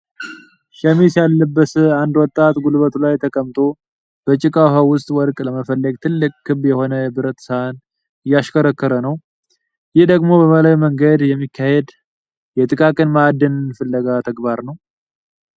ሸሚዝ ያልለበሰ አንድ ወጣት ጉልበቱ ላይ ተቀምጦ፣ በጭቃ ውሃ ውስጥ ወርቅ ለመፈለግ ትልቅ ክብ የሆነ የብረት ሳህን ዕያሽከረክረ ነው። ይህ ደግሞ በባህላዊ መንገድ የሚካሄድ የጥቃቅን ማዕድን ፍለጋ ተግባርን ነው፡፡